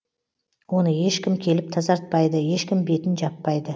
оны ешкім келіп тазартпайды ешкім бетін жаппайды